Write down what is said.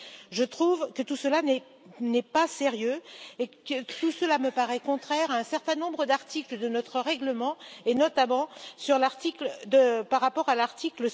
Je trouve que tout cela n'est pas sérieux et tout cela me paraît contraire à un certain nombre d'articles de notre règlement, et notamment l'article